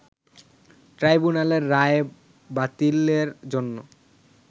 ট্রাইব্যুনালের রায় বাতিলের জন্য